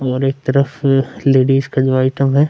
और एक तरफ लेडिस का जो आइटम है --